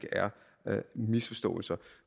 er misforståelser